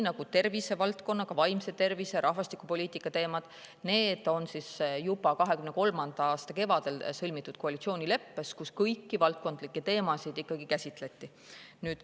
Aga tervise, ka vaimse tervise ja rahvastikupoliitika teemad on kirjas 2023. aasta kevadel sõlmitud koalitsioonileppes, kus kõiki valdkondlikke teemasid käsitleti.